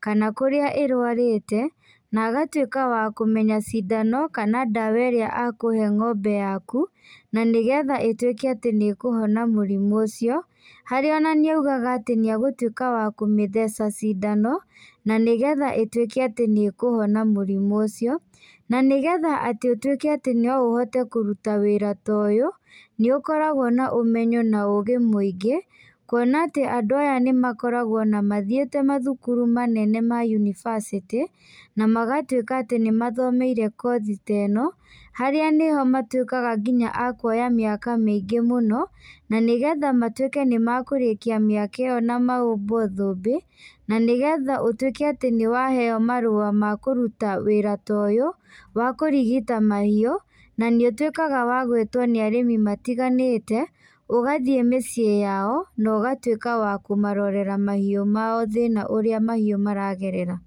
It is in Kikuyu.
kana kũrĩa ĩrwarĩte, na agatuĩka wa kũmenya cindano, kana ndawa ĩrĩa akũhe ng'ombe yaku, na nĩgetha ĩtuĩke atĩ nĩkũhona mũrimũ ũcio, harĩa ona nĩaugaga atĩ nĩagũtuĩka wa kũmĩtheca cindano, na nĩgetha ĩtuĩke atĩ nĩkũhona mũrimũ ũcio, na nĩgetha atĩ ũtuĩke atĩ no ũhote kũruta wĩra ta ũyũ, nĩũkoragwo na ũmenyo na ũgĩ mũingĩ, kuona atĩ andũ aya nĩmakoragwo ona mathiĩte mathukuru manene ma univacĩtĩ, na magatuĩka atĩ nĩmathomeire kothi ta ĩno, harĩa nĩho matuĩkaga nginya a kuoya mĩaka mĩingĩ mũno, na nĩgetha matuĩke nĩmakũrĩkia mĩaka ĩyo na mahumbwo thumbĩ, na nĩgetha ũtuĩke atĩ nĩwaheo marũa ma kũruta wĩra ta ũyũ, wa kũrigita mahiũ, na nĩũtuĩkaga wa gwĩtwo nĩ arĩmi matiganĩte, ũgathiĩ mĩciĩ yao, na ũgatuĩka wa kũmarorera mahiũ mao thina ũrĩa mahiũ maragerera.